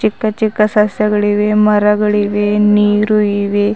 ಚಿಕ್ಕ ಚಿಕ್ಕ ಸಸ್ಯಗಳಿವೆ ಮರಗಳಿವೆ ನೀರು ಇವೆ.